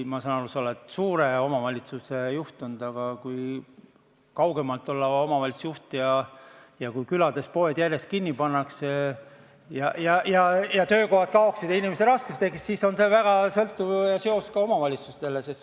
Ma saan aru, sa oled olnud suure omavalitsuse juht, aga kui olla kaugemalt valla omavalitsusjuht ning kui külades poed järjest kinni pannakse ja töökohad kaovad ja inimestel raskused tekivad, siis on sellel väga sõltuv seos ka omavalitsustega.